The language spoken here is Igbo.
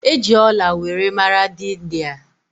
E ji ọla were mara dị India